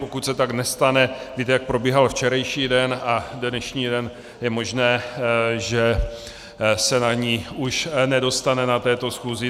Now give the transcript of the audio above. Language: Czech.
Pokud se tak nestane, víte, jak probíhal včerejší den a dnešní den, je možné, že se na ni už nedostane na této schůzi.